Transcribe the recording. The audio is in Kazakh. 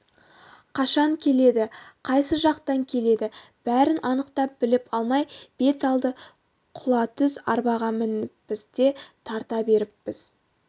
қашан келеді қайсы жақтан келеді бәрін анықтап біліп алмай бет алды құлатүз арбаға мініппіз де тарта беріппіз